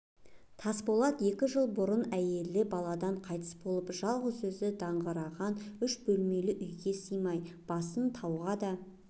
тасболат екі жыл бұрын әйелі баладан қайтыс болып жалғыз өзі даңғыраған үш бөлмелі үйге сыймай басын тауға да